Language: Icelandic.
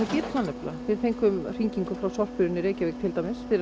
nefnilega við fengum hringingu frá sorphirðunni í Reykjavík til dæmis fyrir